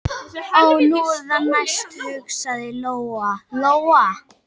Ó, nú er það næst, hugsaði Lóa-Lóa.